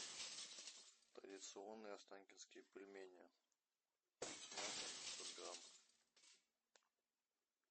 традиционные останкинские пельмени с мясом пятьсот грамм